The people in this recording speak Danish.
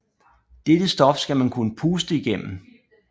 Dette stof skal man kunne puste igennem